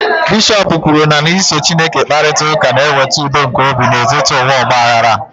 bishọp kwuru na iso Chineke kparịta ụka na-eweta udo nke obi n'etiti ụwa ọgba aghara a